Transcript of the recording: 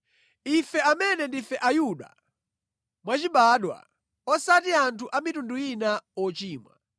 “Ife amene ndife Ayuda mwachibadwa, osati anthu a mitundu ina ochimwa,